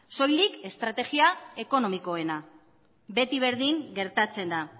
soilik estrategia ekonomikoena beti berdin gertatzen da